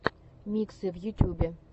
миксы в ютьюбе